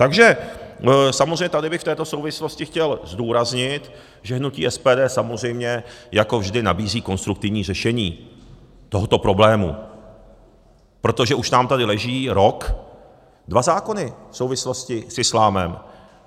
Takže samozřejmě tady bych v této souvislosti chtěl zdůraznit, že hnutí SPD samozřejmě jako vždy nabízí konstruktivní řešení tohoto problému, protože už nám tady leží rok dva zákony v souvislosti s islámem.